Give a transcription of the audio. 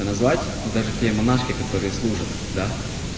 назвать вот даже те монашки которые служат да